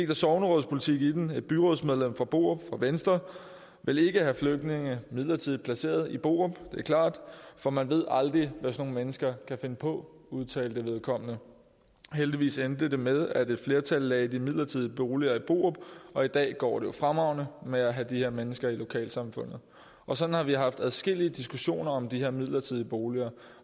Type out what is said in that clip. der sognerådspolitik i den et byrådsmedlem fra borup fra venstre ville ikke have flygtninge midlertidigt placeret i borup det er klart for man ved aldrig hvad sådan nogle mennesker kan finde på udtalte vedkommende heldigvis endte det med at et flertal lagde de midlertidige boliger i borup og i dag går det jo fremragende med at have de her mennesker i lokalsamfundet og sådan har vi haft adskillige diskussioner om de her midlertidige boliger